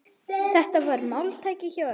Þetta var máltæki hjá ömmu.